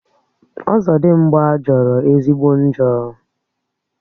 Ọzọdimgbà jọrọ ezigbo njọ